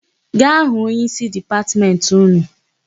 Gaa hụ onyeísí Dipatmentị ụnụ!